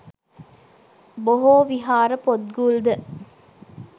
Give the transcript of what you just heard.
බොහෝ විහාර පොත්ගුල්ද